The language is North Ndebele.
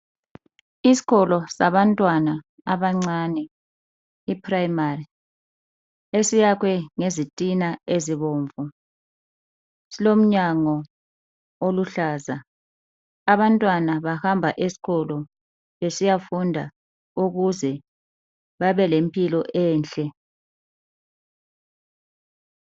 isikolo sabantwana abancane i primary esiyakhwe ngezitina ezibomvu silomnyango oluhlaza abantwana bahamba esikolo besiyafunda ukuze babelempilo enhle